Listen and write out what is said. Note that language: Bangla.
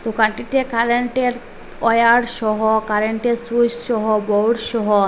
দোকানটিতে কারেন্টের ওয়্যার সহ কারেন্টের সুইস সহ বোর্ড সহ --